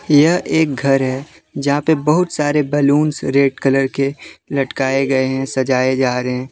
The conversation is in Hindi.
यह एक घर है जहा पे बहुत सारे बैलून्स रेड कलर के लटगाये गए है सजाये जा रहे--